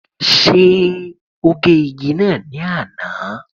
Ṣé ó gé igi náà ní àná?